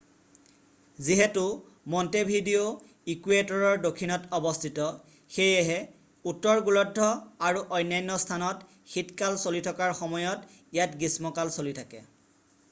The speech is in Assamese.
যিহেতু মণ্টেভিডিঅ' ইকুৱেটৰৰ দক্ষিণত অৱস্থিত সেয়ে উত্তৰ গোলাৰ্ধ আৰু অন্যান্য স্থানত শীত কাল চলি থকাৰ সময়ত ইয়াত গ্ৰীষ্ম কাল চলি থাকে